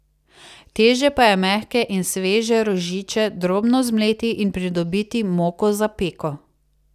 Teže pa je mehke in sveže rožiče drobno zmleti in pridobiti moko za peko.